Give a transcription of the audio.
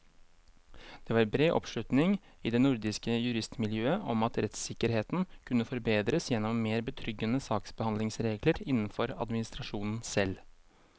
Det var bred oppslutning i det nordiske juristmiljøet om at rettssikkerheten kunne forbedres gjennom mer betryggende saksbehandlingsregler innenfor administrasjonen selv.